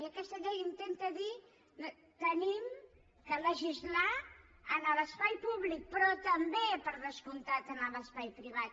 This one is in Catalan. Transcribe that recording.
i aquesta llei intenta dir hem de legislar a l’espai públic però també per descomptat en l’espai privat